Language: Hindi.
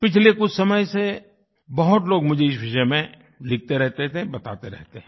पिछले कुछ समय से बहुत लोग मुझे इस विषय में लिखते रहते थे बताते रहते हैं